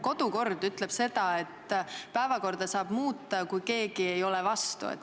Kodukord ütleb, et päevakorda saab muuta, kui keegi vastu ei ole.